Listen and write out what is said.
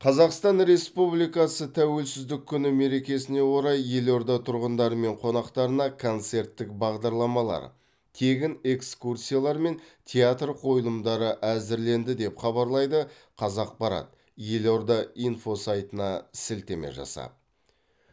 қазақстан республикасы тәуелсіздік күні мерекесіне орай елорда тұрғындары мен қонақтарына концерттік бағдарламалар тегін экскурсиялар мен театр қойылымдары әзірленді деп хабарлайды қазақпарат елорда инфо сайтына сілтеме жасап